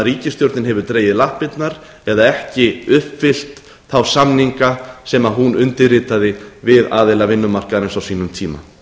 ríkisstjórnin hefur dregið lappirnar eða ekki uppfyllt þá samninga sem hún undirritaði við aðila vinnumarkaðarins á sínum tíma